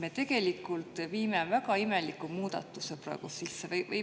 Me tegelikult viime väga imeliku muudatuse praegu sisse.